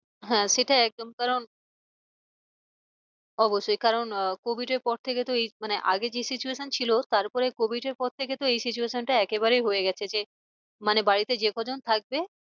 হ্যাঁ সেটা একদম কারণ অবশ্যই কারণ আহ covid এর পর থেকে তো এই মানে আগে যে situation ছিল তারপরে covid এর পর থেকে তো এই situation টা একেবারেই হয়ে গেছে যে মানে বাড়িতে যে কজন থাকবে।